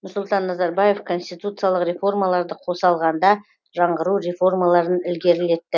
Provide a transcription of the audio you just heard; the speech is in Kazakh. нұрсұлтан назарбаев конституциялық реформаларды қоса алғанда жаңғыру реформаларын ілгерілетті